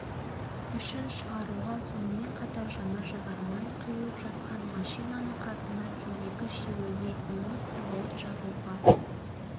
үшін шығаруға сонымен қатар жанар-жағар май құйылып жатқан машинаның қасында темекі шегуге немесе от жағуға